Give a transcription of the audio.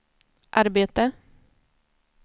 arbete